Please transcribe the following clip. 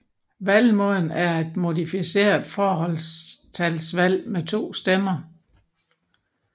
Valgmåden er et modificeret forholdstalsvalg med to stemmer